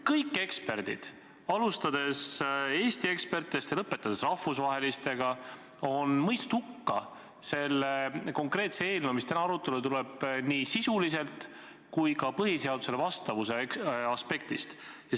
Kõik eksperdid – alustades Eesti ekspertidest ja lõpetades rahvusvahelistega – on selle konkreetse eelnõu, mis täna arutelule tuleb, nii sisuliselt kui ka põhiseadusele vastavuse aspektist hukka mõistnud.